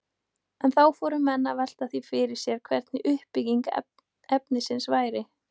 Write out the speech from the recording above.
En þá fóru menn að velta því fyrir sér hvernig uppbygging efnisins væri.